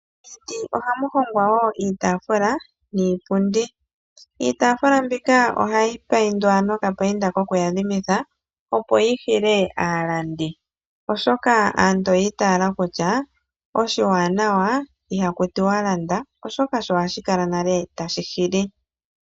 Miiti ohamu hongwa wo iitafula niipundi. Iitafula mbika ohayi payindwa nokapayinda kokuyadhimitha, opo yi hile aalandi, oshoka aantu oyi itala kutya oshiwanawa ihaku tiwa landa oshoka ohashi kala nale tashi hili.